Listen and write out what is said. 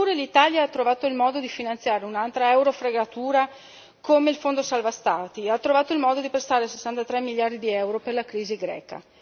Eppure l'Italia ha trovato il modo di finanziare un'altra euro fregatura come il fondo salva Stati e ha trovato il modo di prestare 63 miliardi di euro per la crisi greca.